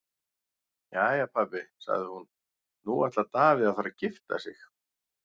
Jæja pabbi, sagði hún, nú ætlar Davíð að fara að gifta sig.